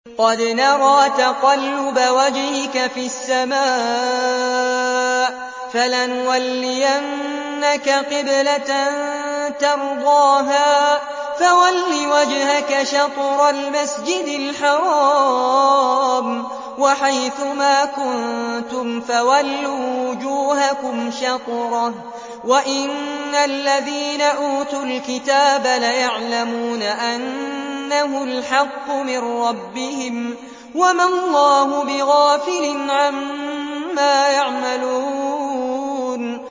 قَدْ نَرَىٰ تَقَلُّبَ وَجْهِكَ فِي السَّمَاءِ ۖ فَلَنُوَلِّيَنَّكَ قِبْلَةً تَرْضَاهَا ۚ فَوَلِّ وَجْهَكَ شَطْرَ الْمَسْجِدِ الْحَرَامِ ۚ وَحَيْثُ مَا كُنتُمْ فَوَلُّوا وُجُوهَكُمْ شَطْرَهُ ۗ وَإِنَّ الَّذِينَ أُوتُوا الْكِتَابَ لَيَعْلَمُونَ أَنَّهُ الْحَقُّ مِن رَّبِّهِمْ ۗ وَمَا اللَّهُ بِغَافِلٍ عَمَّا يَعْمَلُونَ